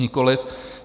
Nikoliv.